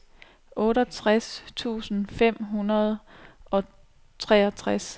otteogtres tusind fem hundrede og treogtres